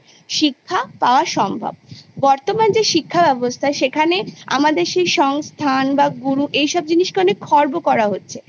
শিক্ষা পাওয়া সম্ভব বর্তমান যে শিক্ষা ব্যবস্থা সেখানে আমাদের সেই সংস্থান বা গুরু এইসব জিনিসকে অনেক খর্ব করা হচ্ছে